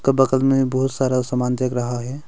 बगल में बहोत सारा सामान दिख रहा है।